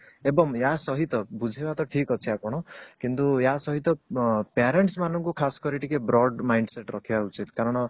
ଏବଂ ୟା ସହିତ ବୁଝେଇବା ତ ଠିକ ଅଛି ଆପଣ କିନ୍ତୁ ୟା ସହିତ parents ମାନଙ୍କୁ ଖାସ କରି ଟିକେ mind set ରଖିବା ଉଚିତ କାରଣ